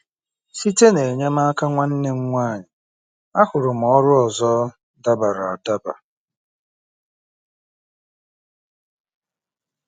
Site n'enyemaka nwanne m nwanyị, ahụrụ m ọrụ ọzọ dabara adaba.